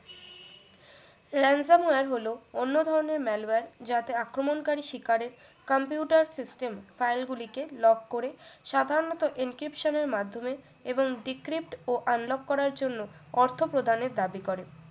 lancer হলো অন্য ধরনের malware যাতে আক্রমনকারী শিকারের computer system file গুলিকে lock করে সাধারণত encryption এর মাধ্যমে এবং decript ও unlock করার জন্য অর্থ প্রদানের দাবি করে